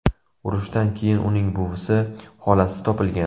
Urushdan keyin uning buvisi, xolasi topilgan.